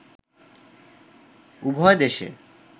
উভয় দেশে